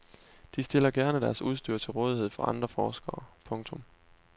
De stiller gerne deres udstyr til rådighed for andre forskere. punktum